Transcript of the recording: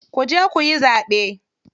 Kuje kuyi zaɓe.